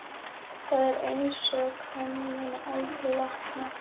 Það er einsog hann muni aldrei vakna.